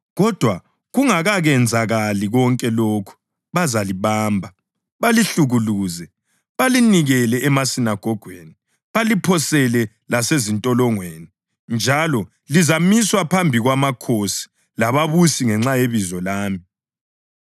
Kodwa kungakenzakali konke lokhu bazalibamba, balihlukuluze. Bazalinikela emasinagogweni baliphosele lasezintolongweni njalo lizamiswa phambi kwamakhosi lababusi ngenxa yebizo lami.